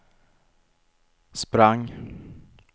sprang